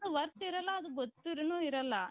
worth ಇರಲ್ಲ ಅದು ಗೊತ್ತಿದ್ದರೂನು ಇರಲ್ಲ.